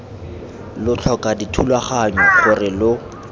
lo tlhoka dithulaganyo gore lo